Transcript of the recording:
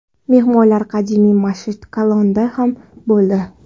Mehmonlar qadimiy Masjidi Kalonda ham bo‘ldi.